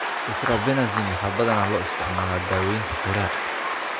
Tetrabenazine waxaa badanaa loo isticmaalaa daawaynta chorea.